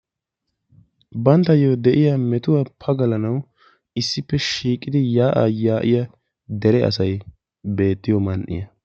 Banttayo de'iya metuwa pagalanawu cora shiiqiddi beettiyo man'iya.